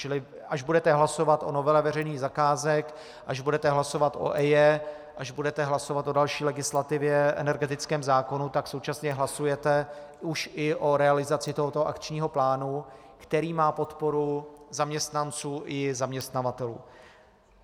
Čili až budete hlasovat o novele veřejných zakázek, až budete hlasovat o EIA, až budete hlasovat o další legislativě, energetickém zákonu, tak současně hlasujete už i o realizaci tohoto akčního plánu, který má podporu zaměstnanců i zaměstnavatelů.